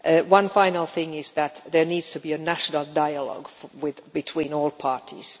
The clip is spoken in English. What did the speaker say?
One final thing is that there needs to be a national dialogue between all parties.